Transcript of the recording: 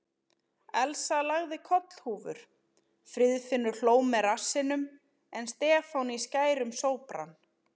Elsa lagði kollhúfur, Friðfinnur hló með rassinum en Stefán í skærum sópran.